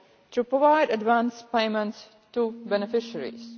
to provide advance payments to beneficiaries.